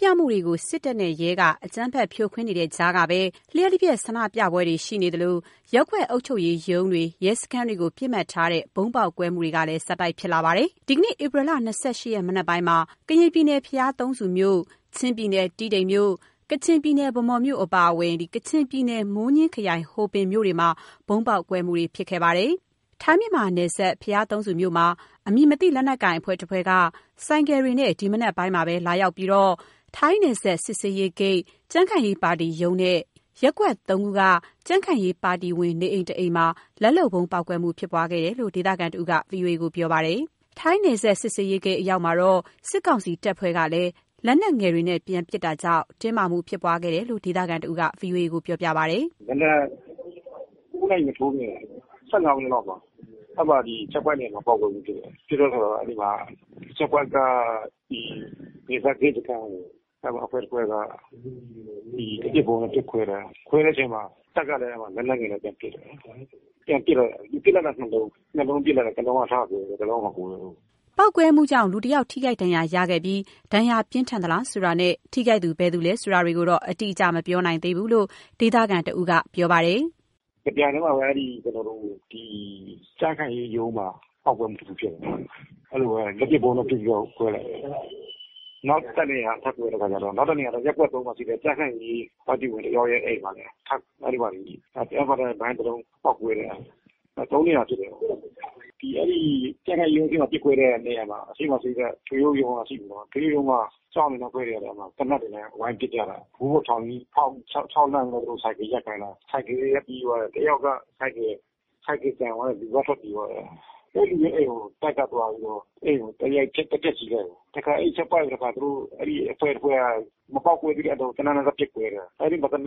ပြမှုတွေကို စစ်တပ်နဲ့ ရဲက အကြမ်းဖက်ပစ်ခတ်ဖြိုခွဲနေတဲ့ကြားကပဲ လျှပ်တပြက် ဆန္ဒပြမှုတွေရှိနေသလို ရပ်ကွက်အုပ်ချုပ်ရေးရုံးတွေ၊ ရဲစခန်းတွေကို ပစ်မှတ်ထားတဲ့ ဗုံးပေါက်ကွဲမှုတွေ ဆက်တိုက်ဖြစ်လာတာပါ။ ဒီကနေ့ ဧပြီ ၂၈ ရက် မနက်ပိုင်းမှာ ကရင်ပြည်နယ် ဘုရားသုံးဆူမြို့၊ ချင်းပြည်နယ် တီးတိန်မြို့၊ ကချင်ပြည်နယ်၊ ဗန်းမော်မြို့ အပါအဝင် ကချင်ပြည်နယ် မိုးညှင်းခရိုင် ဟိုပင်မြို့တွေမှာ ဗုံးပေါက်ကွဲမှု ဖြစ်ပွားခဲ့ပါတယ်။ ထိုင်း-မြန်မာနယ်စပ် ဘုရားသုံးဆူမြို့မှာ အမည်မသိလက်နက်ကိုင် အဖွဲ့တစ်ဖွဲ့က ဆိုင်ကယ်တွေနဲ့ ဒီနေ့မနက်ပိုင်းမှာ လာရောက်ပြီး ထိုင်းနယ်စပ်စစ်ဆေးရေးဂိတ်၊ ကြံ့ခိုင်ရေးပါတီရုံးနဲ့ ရပ်ကွက် ၃ က ကြံ့ခိုင်ရေးပါတီဝင်နေအိမ် တစ်အိမ်မှာ လက်လုပ်ဗုံးပေါက်ကွဲမှုဖြစ်ပွားခဲ့တယ်လို့ ဒေသခံတစ်ဦးက ဗွီအိုအေကို ပြောပါတယ်။ ထိုင်းနယ်စပ် စစ်ဆေးရေးဂိတ်အရောက်မှာတော့ စစ်ကောင်စီတပ်ဖွဲ့ကလည်း လက်နက်ငယ်နဲ့ ပြန်ပစ်လိုက်တာကြောင့် တင်းမာမှုဖြစ်ပွားခဲ့တယ်လို့ ဒေသခံတစ်ဦးက ဗွီအိုအေကို ပြောပါတယ်။ “ဒီမနက် ၉ နာရီမထိုးခင် ၁၅ မိနစ်လောက်မှာ အဲ့မှာ ချက်ပွိုင့်နေရာမှာ ပေါက်ကွဲမှုဖြစ်တယ်။ ဖြစ်တဲ့အခါမှာ အဲဒီမှာ ချက်ပွိုင့်က နယ်စပ်ဂိတ်စခန်းကို အဲ့ဒီမှာ အဖွဲ့တစ်ဖွဲ့က ဒီလက်ပစ်ဗုံးနဲ့ ပစ်ခွဲတာ။ ခွဲတဲ့အချိန်မှာ တပ်ကလည်း လက်နက်ငယ်နဲ့ ပြန်ပစ်တယ်။ ပြန်ပစ်တော့ ပစ်လိုက်တဲ့ နှစ်လုံး၊ နှစ်လုံးပစ်လိုက်တယ်။ တစ်လုံးထကွဲတယ်၊ တစ်လုံးက မကွဲဘူး။” ပေါက်ကွဲမှုကြောင့် လူတစ်ယောက် ထိခိုက်ဒဏ်ရာရရှိပြီး ဒဏ်ရာပြင်းထန်သလားဆိုတာနဲ့ ထိခိုက်သူ ဘယ်သူလဲဆိုတာတွေကိုတော့ အတိအကျမပြောနိုင်သေးဘူးလို့ ဒေသခံ တစ်ဦးက ဆက်ပြောပါတယ်။ “တစ်ပြိုင်တည်းမှာပဲ အဲ့ဒီကျနော်တို့ ကြံ့ခိုင်ရေးရုံးမှာ ပေါက်ကွဲမှုတစ်ခုဖြစ်သွားတယ်၊ အဲ့ဒီလိုပဲ လက်ပစ်ဗုံးနဲ့ ပစ်ပြီးတော့ ခွဲလိုက်တယ်။ နောက်တစ်နေရာထပ်ကွဲတဲ့ အခါကျတော့ နောက်တစ်နေရာ ရပ်ကွက် ၃ မှာရှိတဲ့ ကြံ့ခိုင်ရေး ပါတီဝင်တစ်ယောက်ရဲ့အိမ်မှာလည်း အဲ့ဒီမှာလည်း တစ်ယောက်ကတော့ မိုင်တစ်လုံး ပေါက်ကွဲတာ သုံးနေရာဖြစ်တာပေါ့၊ ဒီ…အဲ့ဒီကြံ့ခိုင်ရေးရုံးမှာ ပစ်ခွဲတဲ့နေရာမှာ အရှေ့မှာ ရှိတဲ့ တရုတ်ရုံးက ရှိနေတော့ တရုတ်ရုံးမှာ စောင့်နေတဲ့အဖွဲ့တွေက သေနတ်တွေနဲ့ ဝိုင်းပစ်ကြတာ မိုးပေါ်ထောင်ပြီး ခြောက်လှမ်းပြီးတော့ သူတို့ ဆိုင်ကယ်ရပ်ခိုင်းတာ ဆိုင်ကယ်တွေက ပြေးသွားတာ တစ်ယောက်က ဆိုင်ကယ်ကျန်သွားတယ်။ လူကထွက်ပြေးသွားတယ်။ အဲ့ဒီလူရဲ့ အိမ်မှာ တပ်က သွားပြီးတော့ အိမ်ကို သွားရိုက်ဖျက်ဆီးလိုက်တယ်ပေါ့၊ အဲ့ဒီ ချက်ပွိုင့်က တစ်ခါ အဲ့ဒီအဖွဲ့တစ်ဖွဲ့က မပေါက်ကွဲသေးတဲ့ အလုံးကို သေနတ်နဲ့ သွားပစ်ခွဲတယ်။ အဲ့ဒီသေနတ်ပစ်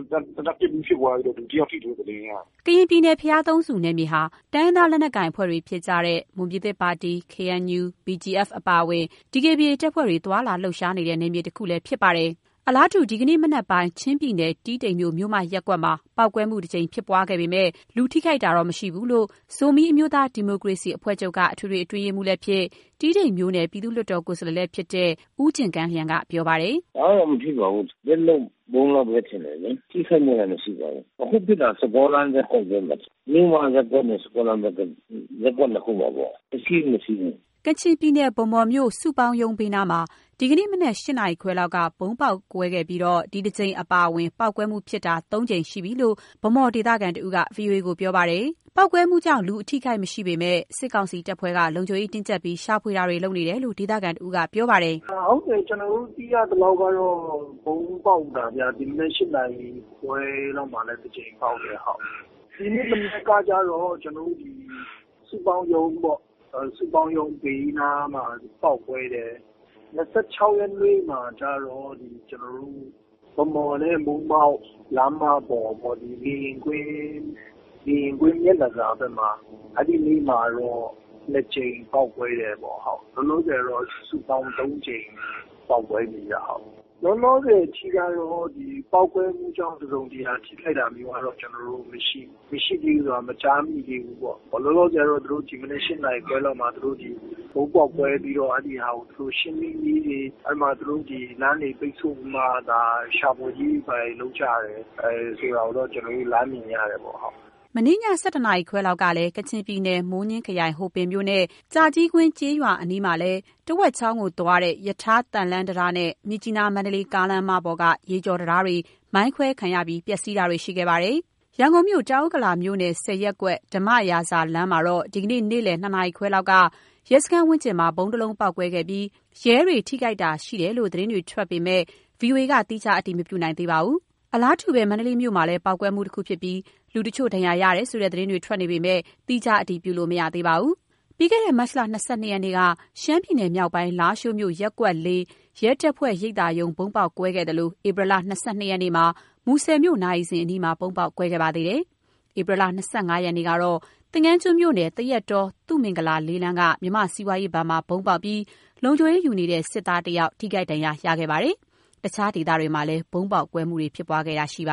ပြီး ဖြစ်ပွားပြီးတော့ လူတစ်ယောက်ထိတယ်လို့ သတင်းရတယ်။” ကရင်ပြည်နယ် ဘုရားသုံးဆူနယ်မြေမှာ တိုင်းရင်းသား လက်နက်တွေဖြစ်ကြတဲ့ မွန်ပြည်ပါတီ၊ KNU၊ BGF အပါအဝင် DKBA တပ်ဖွဲ့တို့ သွားလာလှုပ်ရှားနေတဲ့ နယ်မြေဒေသတစ်ခုလည်း ဖြစ်ပါတယ်။ အလားတူ ဒီနေ့မနက်ပိုင်း ချင်းပြည်နယ်၊ တီးတိန်မြို့ မြို့မရပ်ကွက်မှာ ပေါက်ကွဲမှု တစ်ကြိမ်ဖြစ်ပွားခဲ့ပေမယ့် လူထိခိုက်မှု မရှိဘူးလို့ ဇိုမီးအမျိုးသား ဒီမိုကရေစီအဖွဲ့ချုပ်က အထွေထွေအတွင်းရေးမှူးလည်းဖြစ် တီးတိန်မြို့နယ် ပြည်သူ့လွှတ်တော်ကိုယ်စားလှယ်လည်းဖြစ်တဲ့ ဦးဂင်ကန်းလျံက ပြောပါတယ်။ “ဘာမှတော့ မထိပါဘူး၊ လက်လုပ်ဗုံးလောက်ပဲ ထင်တယ်လေ။ ထိခိုက်မှုတော့ မရှိပါဘူး။ အခုပစ်တာ ၁၃ လမ်း ရပ်ကွက်ရုံးမှာဖြစ်တာ။ မြို့မရပ်ကွက်နဲ့ ၁၃ လမ်းရပ်ကွက်၊ ရပ်ကွက် နှစ်ခုမှာပေါ့။ (ထိခိုက်မှု) မထိဘူး၊ မထိဘူး။” ကချင်ပြည်နယ် ဗန်းမော်မြို့ စုပေါင်းရုံးဘေးနားမှာ ဒီနေ့ မနက် ၈ နာရီခွဲလောက်က ဗုံးပေါက်မှုဖြစ်ပွားပြီး ဒီတစ်ကြိမ်အပါအဝင် ပေါက်ကွဲမှုုဖြစ်တာ သုံးကြိမ်ရှိနေပြီးလို့ ဗန်းမော်ဒေသခံ တစ်ဦးက ဗွီအိုအေကို ပြောပါတယ်။ ပေါက်ကွဲမှုကြောင့် လူအထိအခိုက်မရှိပေမယ့် စစ်ကောင်စီတပ်ဖွဲ့က လုံခြုံရေးတင်းကြပ်ပြီး ရှာဖွေမှုတွေ ပြုလုပ်နေတယ်လို့ ဒေသခံ တစ်ဦးက ပြောပါတယ်။ “ဟုတ်တယ်။ ကျနော်တို့ သိရသလောက်ကတော့ ဗုံးပေါက်တာဗျ။ ဒီနေ့မနက် ၈ နာရီခွဲလောက်မှာလည်း တစ်ကြိမ်ပေါက်တယ်။ ဒီနေ့မနက်ကကျတော့ ကျနော်တို့ ဒီစုပေါင်းရုံးပေါ့၊ စုပေါင်းရုံးဘေးနားမှာ ပေါက်ကွဲတယ်။ ၂၆ ရက်နေ့မှာကျတော့ ဒီ ကျနော်တို့ ဗန်းမော်နဲ့ မိုးမောက် လမ်းမပေါ်ပေါ့။ လေယာဉ်ကွင်း မျက်နှာစာဘက်မှာ အဲ့ဒီနေ့မှာတော့ နှစ်ကြိမ်ပေါက်ကွဲတယ်ပေါ့။ လောလောဆယ်တော့ စုပေါင်းသုံးကြိမ်ပေါက်ကွဲပြီးဗျ။ လောလောဆယ်အထိကတော့ ပေါက်ကွဲမှုကြောင့် တစ်စုံတစ်ရာ ထိခိုက်တာမျိုးကတော့ ကျနော်တို့မရှိသေးတယ်။ မရှိသေးဘူးဆိုတာ မကြားမိသေးဘူးပေါ့။ လောလောဆယ်ကတော့ သူတို့ ဒီမနက် ၈ နာရီခွဲမှာ သူတို့ ဒီဗုံးပေါက်ကွဲပြီးတော့ အဲ့ဒီဟာကို ရှင်းလင်းရေးတွေ အဲ့ဒီမှာသူတို့ ဒီလမ်းတွေ ပိတ်ဆို့ပြီးမှာ ဒါရှာဖွယ်ရေး ဘာတွေလုပ်ကြတယ်။ အဲ့ဒီဟာတွေကိုတော့ ကျနော်တို့လှမ်းမြင်ရတယ်ပေါ့။” မနေ့ည ၁၁ နာရီခွဲလောက်မှာ ကချင်ပြည်နယ်၊ မိုးညှင်းခရိုင်၊ ဟိုပင်မြို့နဲ့ ကြာကြီးကွင်းကျေးရွာအနီးမှာလည်း တဝက်ချောင်းကို သွားတဲ့ ရထားသံလမ်းတံတားနဲ့ မြစ်ကြီးနား-မန္တလေးကားလမ်းမပေါ်က ရေကျော်တံတားတွေ မိုင်းခွဲခံရပြီး ပျက်စီးမှုတွေ ရှိခဲ့ပါတယ်။ ရန်ကုန်မြို့ တောင်ဥက္ကလာမြို့နယ် ၁၀ ရပ်ကွက် ဓမ္မရာဇာလမ်းမှာတော့ ဒီနေ့ နေ့လယ် ၂ နာရီခွဲလောက်က ရဲစခန်းဝန်းကျင်မှာ ဗုံးတစ်လုံးပေါက်မှုဖြစ်ပွားခဲ့ပြီး ရဲတွေ ထိခိုက်မှုတွေရှိတယ်လို့ သတင်းတွေ ထွက်ပေါ်နေပေမဲ့ ဗွီအိုအေက သီးခြား အတည်မပြုနိုင်သေးပါဘူး။ အလားတူပဲ မန္တလေးမြို့မှာလည်း ပေါက်ကွဲမှုတခုဖြစ်ပြီး လူတချို့ ဒဏ်ရာရတယ်ဆိုတဲ့ သတင်းတွေထွက်နေပေမဲ့ သီးခြား အတည်ပြုလို့ မရသေးပါဘူး။ ပြီးခဲ့တဲ့ မတ်လ ၂၂ ရက်နေ့က ရှမ်းပြည်နယ်မြောက်ပိုင်း လားရှိုးမြို့ ရပ်ကွက် ၄ ရဲတပ်ဖွဲ့ရိပ်သာရုံး ဗုံးပေါက်ကွဲခဲ့သလို ဧပြီ ၂၂ ရက်နေ့မှာ မူဆယ်မြို့ နာရီစင်အနီးမှာ ဗုံးပေါက်ကွဲခဲ့ပါတယ်။ ဧပြီလ ၂၅ ရက်နေ့ကတော့ သင်္ဃန်းကျွန်းမြို့နယ် သရက်တော၊ သုမင်္ဂလာ ၄ လမ်းက မြန်မာ့စီးပွားရေးဘဏ်မှာ ဗုံးပေါက်ပြီး လုံခြုံရေးယူနေတဲ့ စစ်သားတစ်ဦး ထိခိုက်ဒဏ်ရာရရှိခဲ့ပါတယ်။ တခြားနေရာဒေသတွေမှာလည်း ဗုံးပေါက်ကွဲမှု ဖြစ်ပွားခဲ့တာရှိပါ